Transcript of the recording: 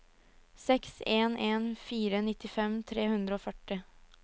seks en en fire nittifem tre hundre og førti